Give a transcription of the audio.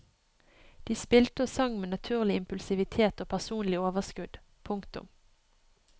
De spilte og sang med naturlig impulsivitet og personlig overskudd. punktum